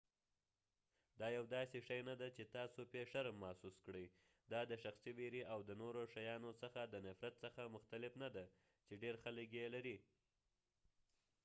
دا يو داسې شې نه دی چې تاسو پې شرم محوس کړئ دا د شخصي ویرې او د نورو شیانو څخه د نفرت څخه مختلف نه دی چې ډیر خلک یې لري